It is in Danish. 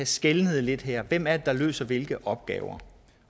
skelne lidt her hvem er det der løser hvilke opgaver